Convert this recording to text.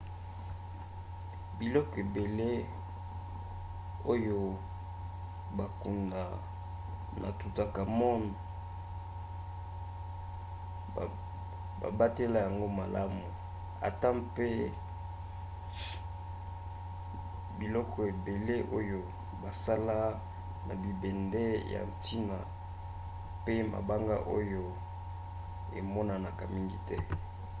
biloko ebele oyo bakunda na toutankhamon babatela yango malamu ata mpe biloko ebele oyo basala na bibende ya ntina pe mabanga oyo emonanaka mingi te